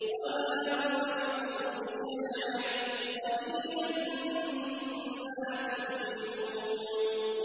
وَمَا هُوَ بِقَوْلِ شَاعِرٍ ۚ قَلِيلًا مَّا تُؤْمِنُونَ